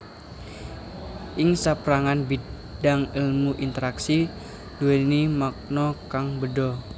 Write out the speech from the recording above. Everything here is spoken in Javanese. Ing sapérangan bidang èlmu interaksi nduwèni makna kang béda